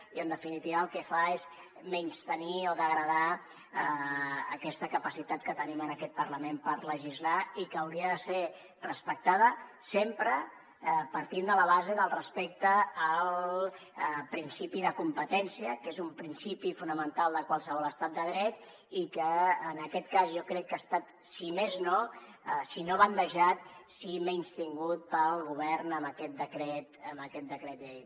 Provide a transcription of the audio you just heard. i en definitiva el que fa és menystenir o degradar aquesta capacitat que tenim en aquest parlament per legislar i que hauria de ser respectada sempre partint de la base del respecte al principi de competència que és un principi fonamental de qualsevol estat de dret i que en aquest cas jo crec que ha estat si no bandejat sí menystingut pel govern amb aquest decret llei